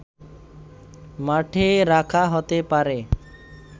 মাঠে রাখা হতে পারে